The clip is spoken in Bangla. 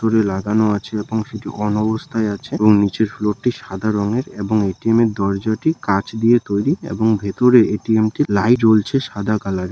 ভেতরে লাগানো আছে অন অবস্থায় আছে এবং নিচের ফ্লোর টি সাদা রঙের এবং এ.টি.এম. এর দরজাটি কাচ দিয়ে তৈরি এবং ভেতরে এ.টি.এম টি লাই জ্বলছে সাদা কালারের ।